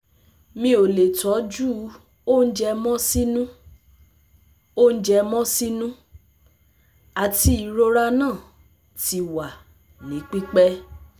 Mi o le tọju ounjẹ mọ sinu, ounjẹ mọ sinu, ati irora naa ti wa ni pipẹ